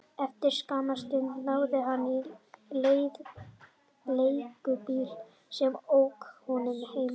Eftir skamma stund náði hann í leigubíl sem ók honum heim.